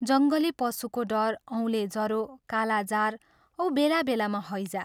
जङ्गली पशुको डर, औले जरो, कालाजार औ बेला बेलामा हैजा।